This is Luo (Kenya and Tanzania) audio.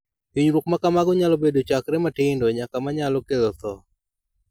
Hinyruok ma kamago nyalo bedo chakre matindo nyaka ma nyalo kelo tho.